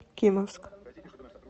кимовск